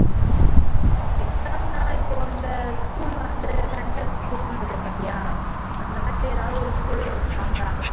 exam எல்லாம் இப்போ இந்த school வந்து center school இருக்கு பாத்தியா அந்த மாதிரி ஏதாவது ஒரு school ல வைப்பாங்க